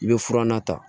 I bɛ fura na ta